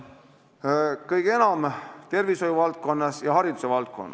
Palun, kolm minutit lisaaega!